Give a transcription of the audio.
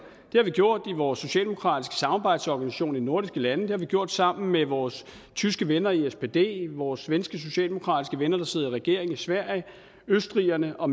har vi gjort i vores socialdemokratiske samarbejdsorganisation i de nordiske lande det har vi gjort sammen med vores tyske venner i spd vores svenske socialdemokratiske venner der sidder i regering i sverige østrigerne og